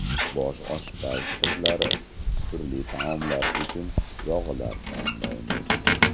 Bosh oshpaz sirlari: turli taomlar uchun yog‘lar tanlaymiz.